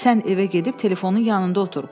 Sən evə gedib telefonun yanında otur.